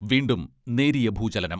വീണ്ടും നേരിയ ഭൂചലനം.